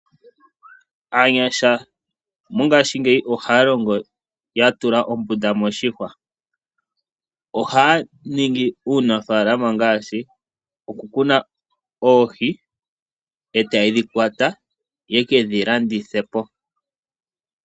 Aanyasha mongashingeyi ohaya longo ya tula ombunda moshihwa. Ohaya ningi uunafalama ngaashi okukuna oohi, e taya dhi kwata ya ke dhi landithe po.